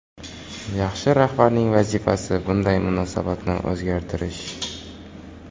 Yaxshi rahbarning vazifasi bunday munosabatni o‘zgartirish”.